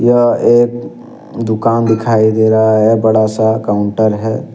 क्या एक दुकान दिखाई दे रहा है बड़ा सा काउंटर है।